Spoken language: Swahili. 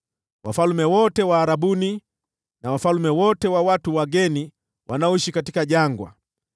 wafalme wote wa Arabuni na wafalme wote wa watu wageni wanaoishi katika jangwa;